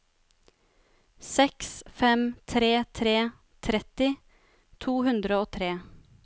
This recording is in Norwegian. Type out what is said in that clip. seks fem tre tre tretti to hundre og tre